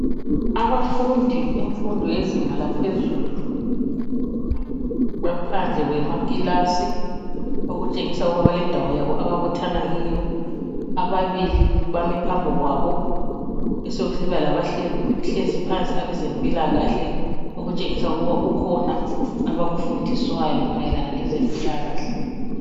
Abafundi bemfundo yezinga laphezulu baphandle kwamakilasi okutshengisa ukubana yindawo yabo ababuthana kiyo. Ababili bame phambi kwabo besekusiba labahlezi phansi abezempilakahle okutshengisa ukuthi kukhona abakufundiswayo mayelana ngezempilakahle.